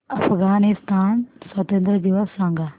अफगाणिस्तान स्वातंत्र्य दिवस सांगा